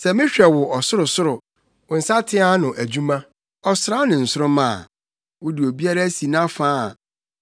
Sɛ mehwɛ wo ɔsorosoro, wo nsateaa ano adwuma; ɔsram ne nsoromma a wode obiara asi nʼafa a,